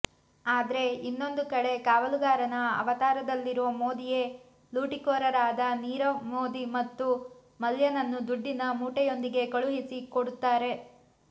ಆದ್ರೆ ಇನ್ನೊಂದು ಕಡೆ ಕಾವಲುಗಾರನ ಅವತಾರದಲ್ಲಿರೋ ಮೋದಿಯೇ ಲೂಟಿಕೋರರರಾದ ನೀರವ್ ಮೋದಿ ಮತ್ತು ಮಲ್ಯನನ್ನು ದುಡ್ಡಿನ ಮೂಟೆಯೊಂದಿಗೆ ಕಳುಹಿಸಿ ಕೊಡುತ್ತಾರೆ